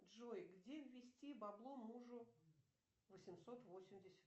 джой где ввести бабло мужу восемьсот восемьдесят